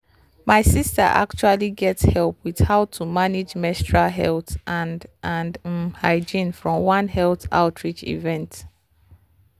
my sister actually get help with how to manage menstrual health and and um hygiene from one health outreach event.